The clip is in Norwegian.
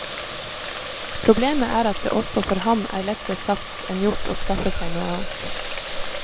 Problemet er at det også for ham er lettere sagt enn gjort å skaffe seg noe annet.